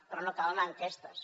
però no cal anar a enquestes